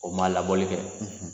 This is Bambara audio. O man labɔli kɛ.